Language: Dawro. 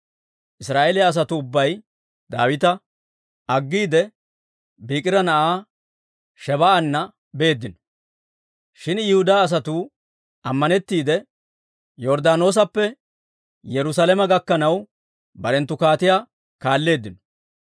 Israa'eeliyaa asatuu ubbay Daawita aggiide, Biikira na'aa Shebaa'aana beeddino. Shin Yihudaa asatuu ammanettiide, Yorddaanoosappe Yerusaalame gakkanaw, barenttu kaatiyaa kaalleeddino.